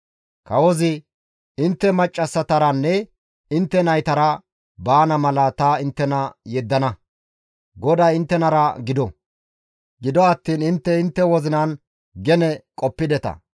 Kawozi, «Intte maccassataranne intte naytara baana mala ta inttena yeddana; GODAY inttenara gido; gido attiin intte intte wozinan gene qoppideta.